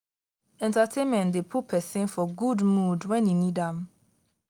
entertainment de put persin for good mood when e need am